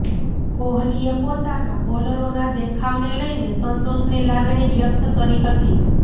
કોહલીએ પોતાના બોલરોના દેખાવને લઇને સંતોષની લાગણી વ્યક્ત કરી હતી